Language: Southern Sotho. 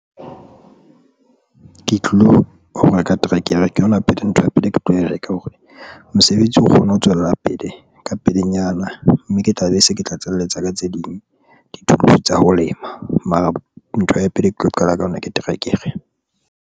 Ke tlilo ho reka terekere ke yona pele ntho ya pele, ke tlo e reka hore mosebetsi o kgone ho tswella pele ka pelenyana, mme ke tla be se ke tlatselletsa ka tse ding di-tools tsa ho lema mara ntho ya pele ke tlo qala ka yona ke terekere.